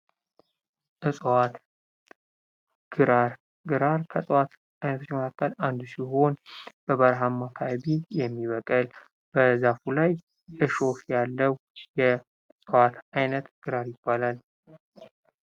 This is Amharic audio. እጽዋት ግራር ከእጽዋት አይነቶች መካከል አንዱ ሲሆን በበረሃማ ካባቢ የሚበቅል በዛፉ ላይ እሾህ ያለው የእጽዋት አይነት ግራር ያባላል።